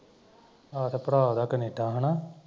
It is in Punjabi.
ਆਹੋ ਤੇ ਭਰਾ ਓਹਦਾ ਕੈਨੇਡਾ ਹੈਨਾ